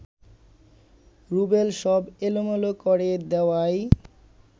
রুবেল সব এলোমেলো করে দেওয়াই